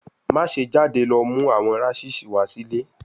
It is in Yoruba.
Maṣe jade lọ mu awọn rashes wa si ile